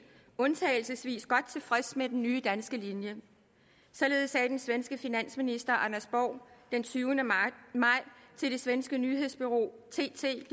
undtagelsesvis godt tilfreds med den nye danske linje således sagde den svenske finansminister anders borg den tyvende maj til det svenske nyhedsbureau tt